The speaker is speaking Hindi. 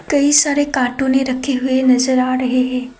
कई सारे कार्टून रखे हुए नजर आ रहे हैं।